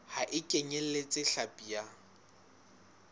ha e kenyeletse hlapi ya